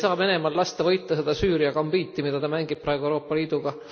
Me ei saa Venemaal lasta võita seda Süüria gambiiti, mida ta mängib praegu Euroopa Liiduga.